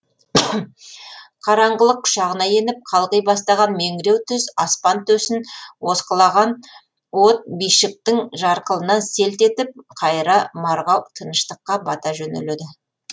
қараңғылық құшағына еніп қалғи бастаған меңіреу түз аспан төсін осқылаған от бишіктің жарқылынан селт етіп қайыра марғау тыныштыққа бата жөнеледі